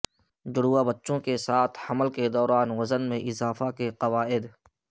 جڑواں بچوں کے ساتھ حمل کے دوران وزن میں اضافہ کے قوائد